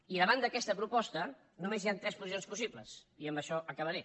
i davant d’aquesta proposta només hi han tres posicions possibles i amb això acabaré